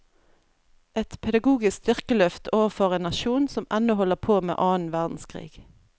Et pedagogisk styrkeløft overfor en nasjon som ennå holder på med annen verdenskrig.